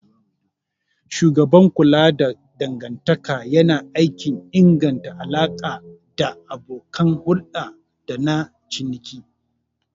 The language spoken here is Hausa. Shugaban kula da dangantaka yana aikin inganta alaƙa da abokan hulɗa dana ciniki.